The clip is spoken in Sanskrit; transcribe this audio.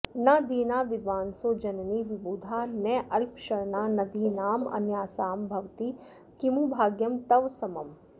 न दीना विद्वांसो जननि विबुधा नाल्पशरणा नदीनामन्यासां भवति किमु भाग्यं तव समम्